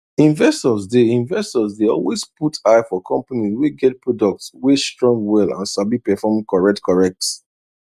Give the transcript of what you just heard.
investors dey investors dey always put eye for companies wey get products wey strong well and sabi perform correctcorrect